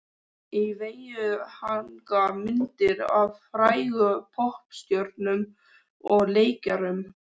Á veggjunum hanga myndir af frægum poppstjörnum og leikurum.